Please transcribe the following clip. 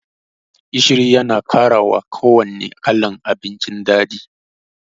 Gishiri Yana karawa kuwanne kalan abinci daɗi.